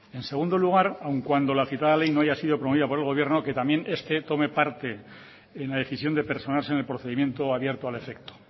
en segundo lugar aun cuando la citada ley no haya sido promovida por el gobierno que también este tome parte en la decisión de personarse en el procedimiento abierto al efecto